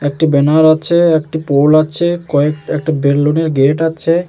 একটি ব্যানার আছে একটি পোল আছে একটি বেলুনের গেট আছে।